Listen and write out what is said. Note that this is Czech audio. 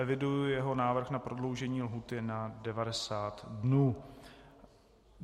Eviduji jeho návrh na prodloužení lhůty na 90 dnů.